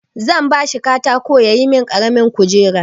Zan ba shi katako ya yi min ƙaramin kujera.